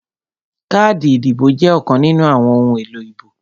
Káàdì ìdìbò jẹ́ ọ̀kan nínú àwọn ohun èlò ìbò